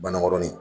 Banna kɔnɔni